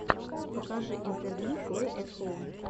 покажи интервью плэй эт хоум